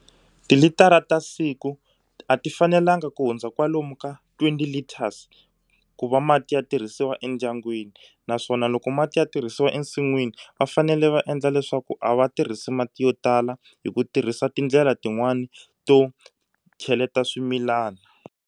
Yilitara ta siku a ti fanelanga ku hundza kwalomu ka twenty litres ku va mati ya tirhisiwa endyangwini naswona loko mati ya tirhisiwa ensinwini va fanele va endla leswaku a va tirhisi mati yo tala hi ku tirhisa tindlela tin'wani to cheleta swimilana.